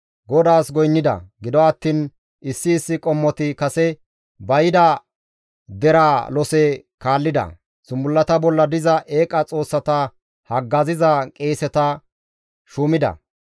GODAAS goynnida; gido attiin issi issi qommoti kase ba yida deraa lose kaallida; zumbullata bolla diza eeqa xoossata haggaziza qeeseta shuumida.